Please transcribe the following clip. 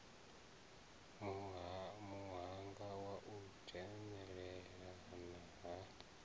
muhanga wa u dzhenelelana ha